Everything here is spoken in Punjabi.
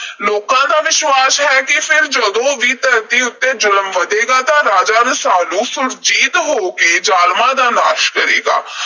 ਲੋਕਾਂ ਦਾ ਵਿਸ਼ਵਾਸ ਹੈ ਕਿ ਫਿਰ ਜਦੋਂ ਵੀ ਧਰਤੀ ਉੱਤੇ ਜ਼ੁਲਮ ਵਧੇਗਾ ਤਾਂ ਰਾਜਾ ਰਸਾਲੂ ਸੁਰਜੀਤ ਹੋ ਕੇ ਜ਼ਾਲਮਾਂ ਦਾ ਨਾਸ਼ ਕਰੇਗਾ।